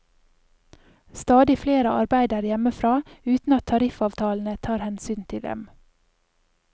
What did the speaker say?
Stadig flere arbeider hjemmefra, uten at tariffavtalene tar hensyn til dem.